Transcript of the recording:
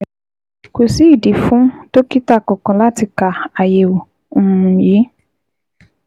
Kò sí ìdí fún dókítà kankan láti ka àyẹ̀wò um yìí